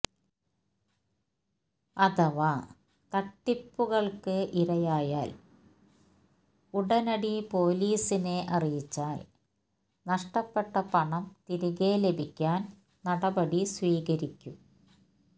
അഥവാ തട്ടിപ്പുകള്ക്ക് ഇരയായാല് ഉടനടി പോലീസിനെ അറിയിച്ചാല് നഷ്ടപ്പെട്ട പണം തിരികെ ലഭിക്കാന് നടപടി സ്വീകരിക്കും